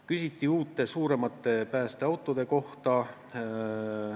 Küsiti uute suuremate päästeautode kohta.